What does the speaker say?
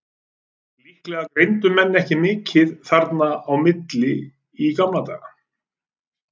Líklega greindu menn ekki mikið þarna á milli í gamla daga.